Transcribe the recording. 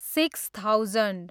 six thousand